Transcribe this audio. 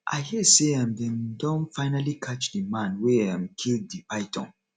i hear say um dey um don finally catch the man wey um kill the python